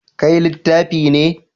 Kai littafi ne.